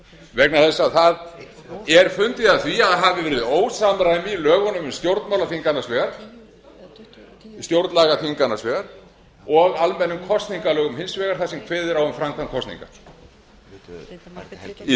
vegna þess að það er fundið að því að það hafi verið ósamræmi í lögunum um stjórnmálaþing annars vegar og almennum kosningalögum hins vegar þar sem kveðið er á um framkvæmd kosninga í